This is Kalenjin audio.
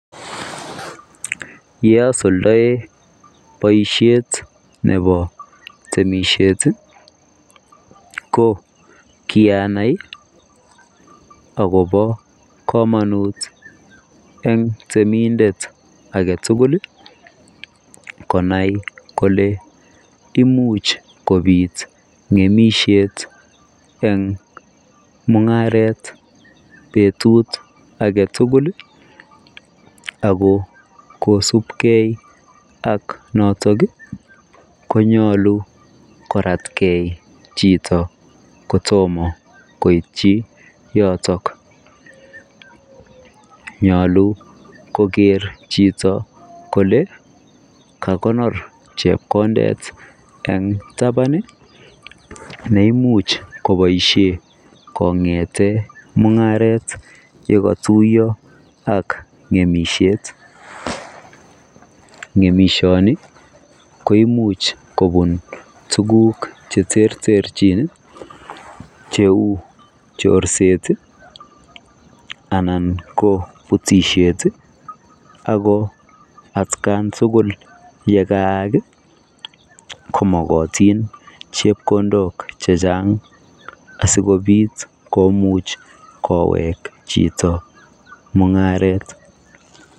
Yasuldaen boisiet nebo temisiet ko kianai ii agobo kamanut eng temindet age tugul konai kole imuuch kobiit ngemisiet eng mungaret betut age tugul ii ako kosupkei ak notoog konyaluu koratgei chitoo koityi yotoog nyaluu koger chito kole kakonyoor chepkondet eng tabaan neimuuch kobaisheen kongethen mungaret ye katuyaa ak ngemisiet ngemisiet che uu chorset ii anan ko butisiet ako at kaan tugul ye kaag ko magatiin chepkondook che chaang asikobiit koweek chitoo mungaret.